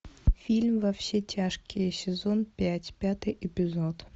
фильм во все тяжкие сезон пять пятый эпизод